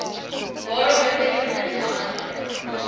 waarop bevestigend geantwoord